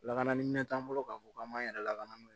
Lakana ni minɛn t'an bolo k'a fɔ k'an m'an yɛrɛ lakano n'o ye